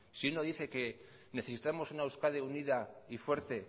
si uno dice que necesitamos una euskadi unida y fuerte